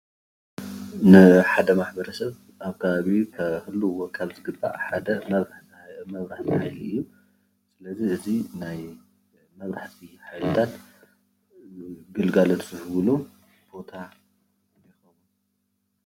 ንሓደ ማሕበረሰብ ኣብ ከባቢኡ ክህልውዎ ካብ ዝግባእ ሓደ ማብራህቲ ሓይሊ እዩ፡፡ ስለዚ እዚ ናይ መብራህቲ ሓይልታት ግልጋሎት ዝህብሉ ቦታ እዩ፡፡